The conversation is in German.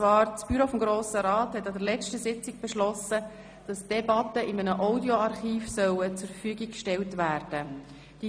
Das Büro des Grossen Rats hat an der letzten Sitzung beschlossen, dass die Debatten in einem Audioarchiv zur Verfügung gestellt werden sollen.